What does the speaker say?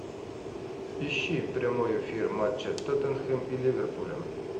ищи прямой эфир матча тоттенхэм и ливерпуля